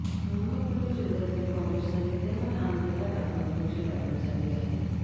अहमदनगर जिल्ह्यातील काँग्रेसच्या विद्यमान आमदाराला कोरोनाची लागण झाली आहे